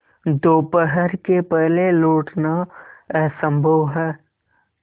दोपहर के पहले लौटना असंभव है